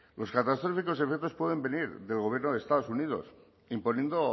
los catastróficos efectos pueden venir del gobierno de los estados unidos imponiendo